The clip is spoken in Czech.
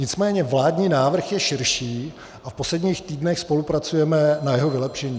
Nicméně vládní návrh je širší a v posledních týdnech spolupracujeme na jeho vylepšení.